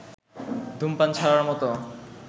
ধূমপান ছাড়ার মতো